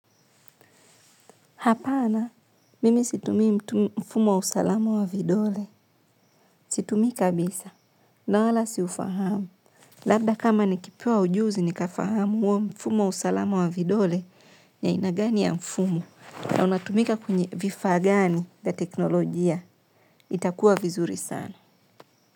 Hapana, mimi situmii mfumo wa usalama wa vidole. Situmii kabisa. Na wala siufahamu. Labda kama nikipewa ujuzi, nikafahamu uo mfumu wa usalama wa vidole ya ina gani ya mfumu. Na unatumika kwenye vifa gani ya teknolojia. Itakuwa vizuri sana.